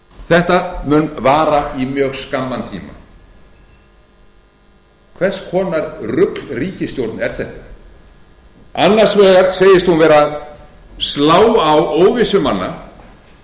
þetta mun vara í mjög skamman tíma hvers vegnar ruglríkisstjórn er þetta annars vegar segist hún vera að slá á óvissu manna